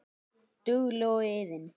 Dugleg og iðin.